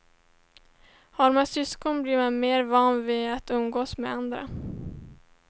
Har man syskon blir man mer van vid att umgås med andra.